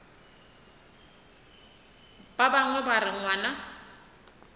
ba bangwe ba re ngwana